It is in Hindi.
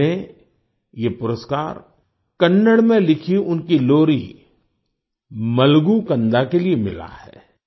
इन्हें ये पुरस्कार कन्नड़ में लिखी उनकी लोरी मलगू कन्दा मलागू कांडा के लिए मिला है